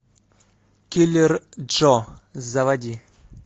киллер джо заводи